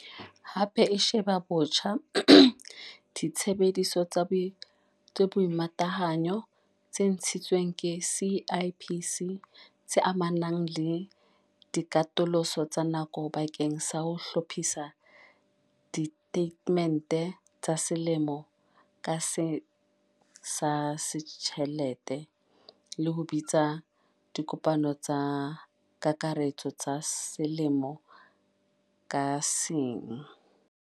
Hape e sheba botjha ditsebiso tsa boimatahanyo tse ntshitsweng ke CIPC, tse amanang le dikatoloso tsa nako bakeng sa ho hlophisa ditatemente tsa selemo ka seng tsa ditjhelete le ho bitsa dikopano tsa kakaretso tsa selemo ka seng.